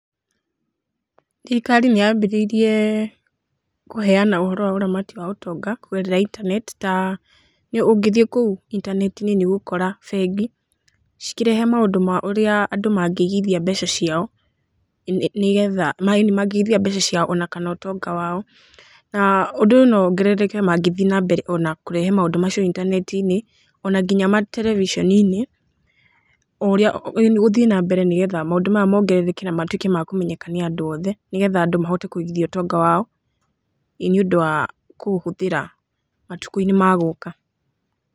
Thirikari nĩ ya mbĩrĩirie kũheana uhoro wa ũramati wa ũtonga kũgerera intaneti ta ũngĩthie kũu intaneti~inĩ nĩ ũgũkora bengi cikĩrehe maũndũ ma ũrĩa andũ mangĩ igĩthia mbeca ciao ona kana ũtonga wao na ũndũ ũyũ no wongerereke mangĩthiĩ na mbere ona kũrehe maũndũ macio intaneti~inĩ ona nginya ma tereviceni~inĩ ũthie na mbere nĩ getha maũndũ maya mongerereke na matũĩke makũmenyeke nĩ andũ othe nĩ getha andũ mahote kũigithia ũtonga wao nĩũndũ wa kũũhũthĩra matũkũ~inĩ magũka.